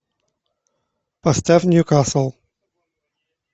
поставь ньюкасл